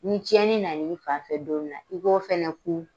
Ni cɛnni nan'i fanfɛ don min i b'o fana kun.